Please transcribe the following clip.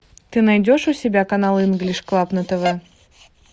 ты найдешь у себя канал инглиш клаб на тв